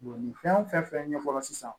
nin fɛn fɛn ɲɛfɔra sisan